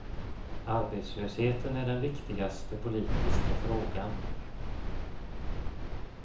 Arbetslösheten är den viktigaste politiska frågan.